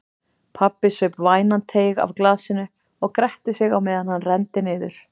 Pabbi saup vænan teyg af glasinu og gretti sig meðan hann renndi niður.